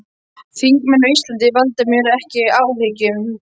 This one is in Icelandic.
Þingmenn á Íslandi valda mér ekki áhyggjum.